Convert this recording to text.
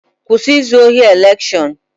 Kwụsị izu ohi elekshọn!